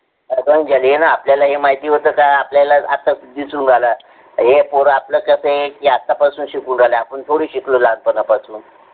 हो न आपल्याला ही माहिती होत, का आतस दिसू राहल्या. हे आता कसा आहे आतापासून शिकून राहिले. आपण थोडे शिकलो लहानपणापासून.